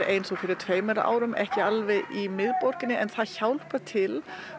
eins og fyrir tveimur árum ekki alveg í miðborginni en það hjálpar til